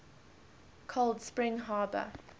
cold spring harbor